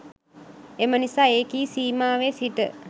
එම නිසා එකී සීමාවෙ සිට